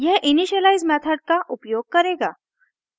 यह initialize method का उपयोग करेगा